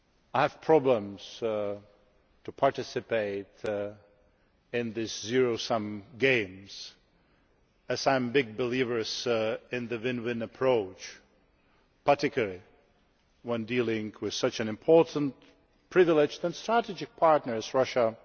I have problems with participating in these zero sum games as I am a great believer in the win win approach, particularly when dealing with such an important, privileged and strategic partner as Russia.